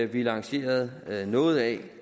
vi lancerede noget af